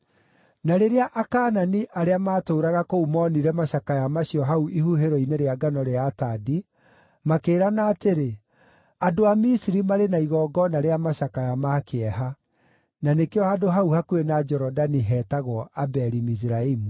Na rĩrĩa Akaanani arĩa maatũũraga kũu moonire macakaya macio hau ihuhĩro-inĩ rĩa ngano rĩa Atadi, makĩĩrana atĩrĩ, “Andũ a Misiri marĩ na igongona rĩa macakaya ma kĩeha.” Na nĩkĩo handũ hau hakuhĩ na Jorodani heetagwo Abeli-Miziraimu.